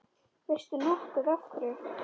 Veistu nokkuð af hverju?